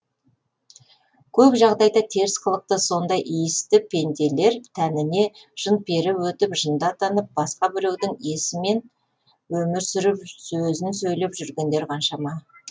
көп жағдайда теріс қылықты сондай иісті пенделер тәніне жын пері өтіп жынды атанып басқа біреудің есімен өмір сүріп сөзін сөйлеп жүргендер қаншама